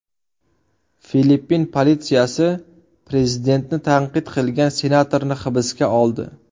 Filippin politsiyasi prezidentni tanqid qilgan senatorni hibsga oldi.